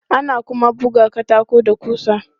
Ana kuma buga katako da ƙusa.